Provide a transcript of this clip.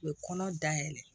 U ye kɔnɔ dayɛlɛ